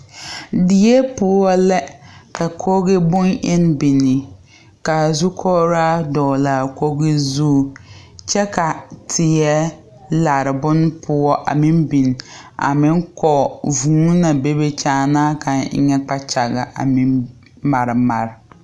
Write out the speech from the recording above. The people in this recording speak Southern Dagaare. Die poɔ la ka kogi bonne eŋne biŋ ka zukɔgraa dɔgle a kogi zu kyɛ ka teɛ lare bonpoɔ a meŋ biŋ a meŋ kɔge vuu naŋ be a kyaana kaŋ eŋɛ kpakyaga a meŋ mare mare.